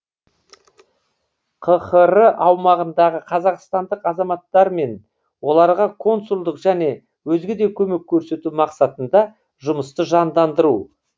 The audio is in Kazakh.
қхр аумағындағы қазақстандық азаматтармен оларға консулдық және өзге де көмек көрсету мақсатында жұмысты жандандыру